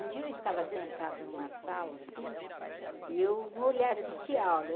Um dia eu estava sentado numa sala, assim, e eu assistir a aula.